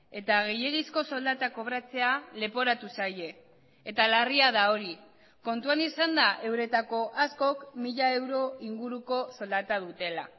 eta gehiegizko soldata kobratzea leporatu zaie eta larria da hori kontuan izanda euretako askok mila euro inguruko soldata dutela